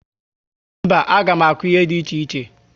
Mba, a gá m akụ ihe dị iche iche